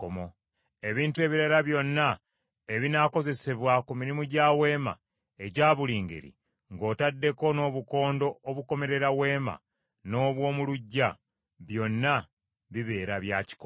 Ebintu ebirala byonna ebinaakozesebwa ku mirimu gya Weema egya buli ngeri, ng’otaddeko n’obukondo obukomerera Weema n’obw’omu luggya, byonna bibeera bya kikomo.